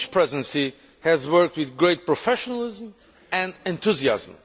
The Polish Presidency has worked with great professionalism and enthusiasm.